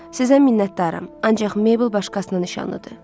Sizə minnətdaram, ancaq Meybıl başqasının nişanlıdır.